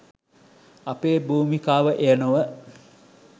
අපේ භූමිකාව එය නොව